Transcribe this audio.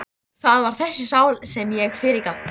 Það var þessari sál sem ég fyrirgaf.